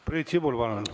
Priit Sibul, palun!